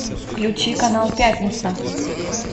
включи канал пятница